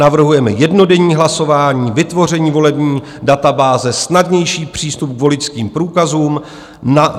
Navrhujeme jednodenní hlasování, vytvoření volební databáze, snadnější přístup k voličským průkazům.